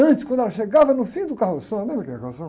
Antes, quando ela chegava no fim do carroção, lembra o que era carroção?